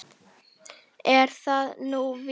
Er það nú víst?